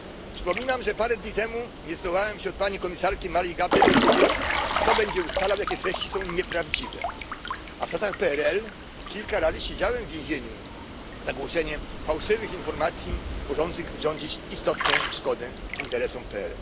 Przypominam, że parę dni temu nie zdołałem się od pani komisarki Maryi Gabriel dowiedzieć, kto będzie ustalał, jakie treści są nieprawdziwe, a w czasach PRL kilka lat siedziałem w więzieniu za głoszenie fałszywych informacji, mogących wyrządzić istotną szkodę interesom PRL.